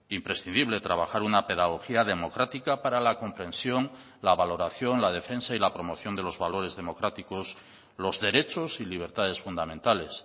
imprescindible trabajar una pedagogía democrática para la comprensión la valoración la defensa y la promoción de los valores democráticos los derechos y libertades fundamentales